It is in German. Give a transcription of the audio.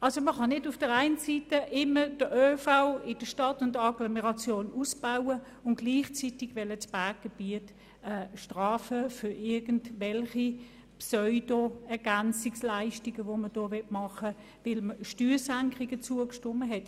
Man kann nicht den ÖV in Stadt und Agglomeration immer ausbauen und gleichzeitig das Berggebiet für irgendwelche Pseudo-Ergänzungsleistungen bestrafen, weil man Steuersenkungen zugestimmt hat.